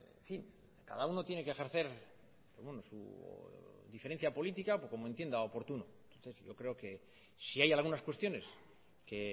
en fin cada uno tiene que ejercer su diferencia política o como entienda oportuno yo creo que si hay algunas cuestiones que